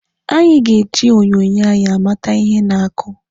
Anyị ga-ebi onyonyo anyị amata ihe na-akụ.